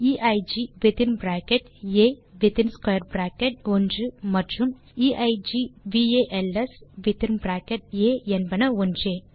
எய்க் within bracket ஆ within square bracket 1 மற்றும் equals within bracket ஆ என்பன ஒன்றே